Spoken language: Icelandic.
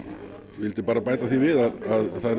vildi bara bæta því við að það er